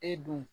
E don